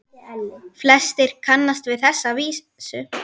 Flestir kannast við þessa vísu